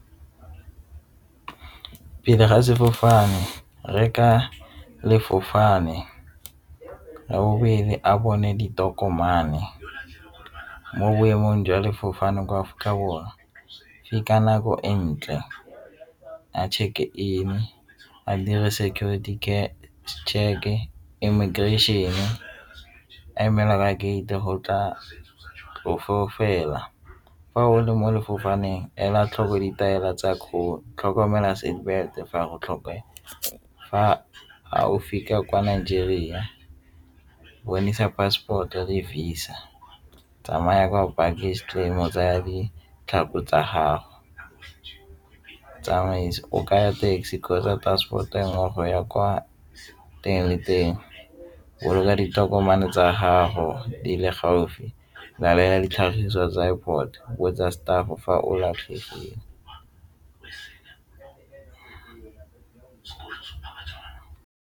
Pele ga sefofane, reka le . Ya bobedi, a bone ditokomane mo boemong jwa sefofane mo Afrika Borwa ke ka nako e ntle a check-e in, a dire security check-e, immigration-e a emelwa ka gate go tla fa o le mo ela tlhoko ditaelo tsa kgolo tlhokomela fa go tlhoke. Fa ga o fitlha kwa Nigeria, bonesa passport-e le Visa tsamaya kwa go baggage stream go tsaya ditlhako tsa gago, tsamaisa o kaya taxi kgotsa transport e nngwe go ya kwa teng le teng ditokomane tsa gago di le gaufi ya ditlhagiso tsa airport botsa fa o latlhegegile.